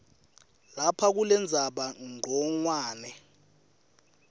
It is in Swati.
lapha kulendzaba ncongwane